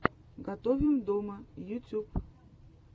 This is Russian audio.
готовим дома ютьюб